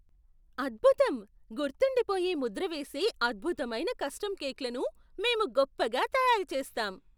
అద్భుతం! గుర్తుండిపోయే ముద్ర వేసే అద్భుతమైన కస్టమ్ కేక్లను మేము గొప్పగా తయారుచేస్తాం.